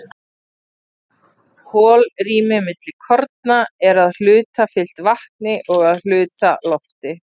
holrými milli korna er að hluta fyllt vatni og að hluta lofti